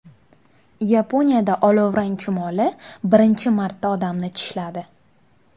Yaponiyada olovrang chumoli birinchi marta odamni tishladi.